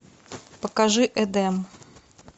покажи эдем